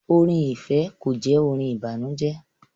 Orin ifẹ kò jẹ orin ìbànújẹ